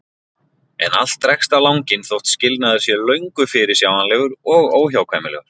En allt dregst á langinn þótt skilnaður sé löngu fyrirsjáanlegur og óhjákvæmilegur.